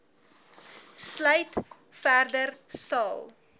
sluit verder sal